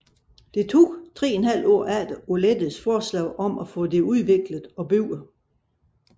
Det tog 3½ år efter Alouettes forslag om at få det udviklet og bygget